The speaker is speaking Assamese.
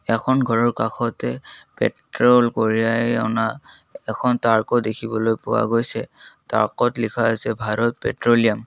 এখন ঘৰৰ কাষতে পেট্ৰল কঢ়িয়াই অনা এখন ট্ৰাকও দেখিবলৈ পোৱা গৈছে ট্ৰাকত লিখা আছে ভাৰত পেট্ৰিয়াম ।